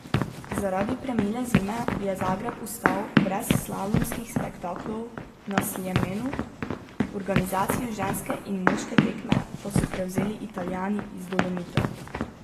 Zaradi premile zime je Zagreb ostal brez slalomskih spektaklov na Sljemenu, organizacijo ženske in moške tekme pa so prevzeli Italijani iz Dolomitov.